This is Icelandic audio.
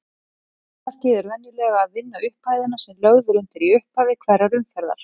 Takmarkið er venjulega að vinna upphæðina sem lögð er undir í upphafi hverrar umferðar.